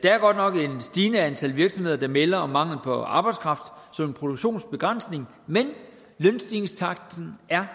er godt nok et stigende antal virksomheder der melder om mangel på arbejdskraft som en produktionsbegrænsning men lønstigningstakten er